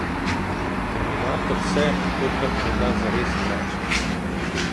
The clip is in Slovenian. Terminator se, tokrat menda zares, vrača.